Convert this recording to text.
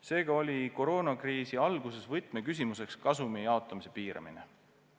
Seega oli koroonakriisi alguses võtmeküsimuseks kasumi jaotamise piiramine.